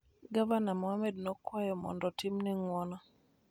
Gavana Mohamud nokwayo mondo otimne ng'uono